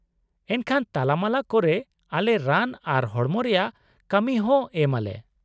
-ᱮᱱᱠᱷᱟᱱ ᱛᱟᱞᱟᱢᱟᱞᱟ ᱠᱚᱨᱮ ᱟᱞᱮ ᱨᱟᱱ ᱟᱨ ᱦᱚᱲᱚᱢ ᱨᱮᱭᱟᱜ ᱠᱟᱢᱤ ᱦᱚᱸ ᱮᱢ ᱟᱞᱮ ᱾